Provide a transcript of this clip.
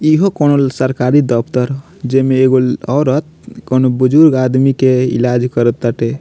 इहो कोनो ल सरकारी दफ्तर जे में एगो औरत कोनो बुजुर्ग आदमी के इलाज करअ ताटे।